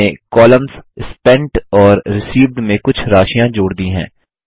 मैंने columns spent और received में कुछ राशियाँ जोड़ दी हैं